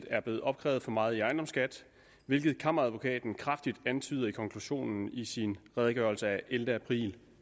er blevet opkrævet for meget i ejendomsskat hvilket kammeradvokaten kraftigt antyder i konklusionen i sin redegørelse af ellevte april